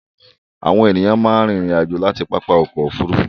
Àwọn ènìyàn máa ń rìnrìn-àjò láti pápá ọkọ̀-òfurufú.